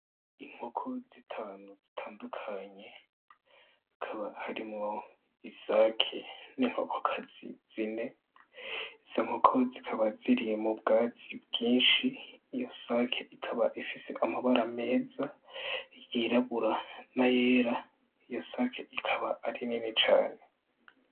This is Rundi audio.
Inkoko zitanu zitandukanye, hakaba harimwo isake n'inkokokazi zine, izo nkoko zikaba ziri mu bwatsi bwinshi. Iyo sake ikaba ifise amabara meza yirabura n'ayera, iyo sake ikaba ari nini cane.